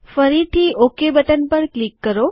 ફરીથી okay button પર click કરો